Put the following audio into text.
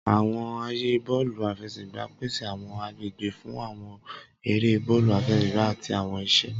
Awọn aaye bọọlu afẹsẹgba pese awọn agbegbe fun awọn ere bọọlu afẹsẹgba ati awọn iṣe.